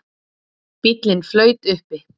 Bíllinn flaut uppi